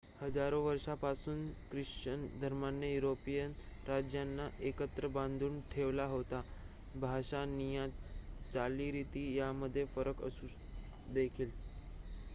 हजारो वर्षापासून ख्रिश्चन धर्माने युरोपीय राज्यांना एकत्र बांधून ठेवले होते भाषा निया चालीरीती यामध्ये फरक असून देखील